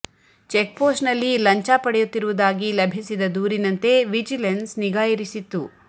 check post ನಲ್ಲಿ ಲಂಚ ಪಡೆಯುತ್ತಿರುವುದಾಗಿ ಲಭಿಸಿದ ದೂರಿನಂತೆ ವಿಜಿಲೆನ್ಸ್ ನಿಗಾ ಇರಿಸಿತ್ತು